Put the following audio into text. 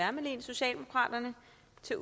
syn